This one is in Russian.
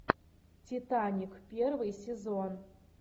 титаник первый сезон